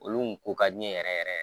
Olu , u ka di n ye yɛrɛ yɛrɛ